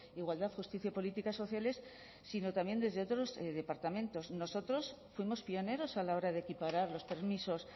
igualdad justicia y políticas sociales sino también desde otros departamentos nosotros fuimos pioneros a la hora de equiparar los permisos